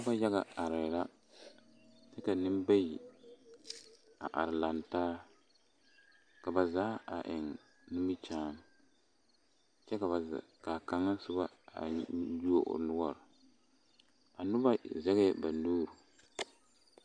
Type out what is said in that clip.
Noba yaga arɛɛ la kyɛ ka neŋbayi a are laŋ taa ka ba zaa a eŋ nimikyaani kyɛ ka ba zaa ka kaŋa soba a yuo o noɔre a noba zɛgɛɛ ba nuuri.